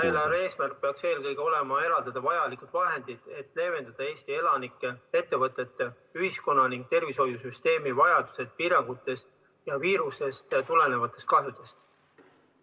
Eelarve eesmärk peaks eelkõige olema eraldada vajalikud vahendid, et leevendada Eesti elanikele, ettevõtetele, ühiskonnale ning tervishoiusüsteemile vajalikest piirangutest ja viirusest tulenevaid kahjusid.